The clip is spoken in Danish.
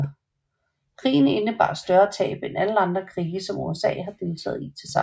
Krigen indebar større tab end alle andre krige som USA har deltaget i tilsammen